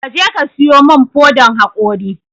Kaje ka sayo mun fodan haƙori